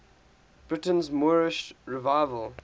britain's moorish revival